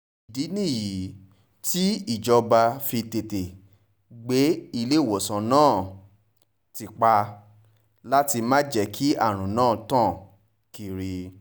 ìdí nìyí tíjọba fi tètè gbé iléewòsàn náà ti pa láti má jẹ́ kí àrùn náà tàn kiri